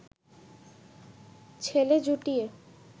ছেলে জুটিয়ে